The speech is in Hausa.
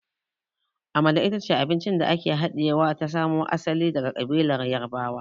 Amala ita ce abinci da ake haɗiya ta samo asali daga ƙabilar Yarbawa.